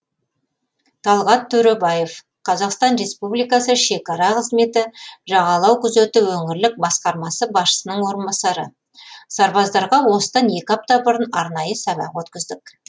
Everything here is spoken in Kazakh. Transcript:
талғат төребаев қазақстан республикасы шекара қызметі жағалау күзеті өңірлік басқармасы басшысының орынбасары сарбаздарға осыдан екі апта бұрын арнайы сабақ өткіздік